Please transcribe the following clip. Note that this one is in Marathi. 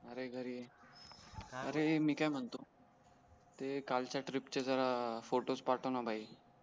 आरे घरी ए अरे मी काय म्हणतो ते काल चा ट्रिप चे फोटो भाई